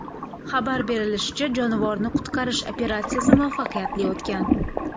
Xabar berilishicha, jonivorni qutqarish operatsiyasi muvaffaqiyatli o‘tgan.